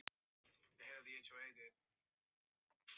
Ámundi, hvað geturðu sagt mér um veðrið?